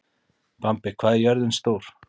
Bambi, hvað er jörðin stór?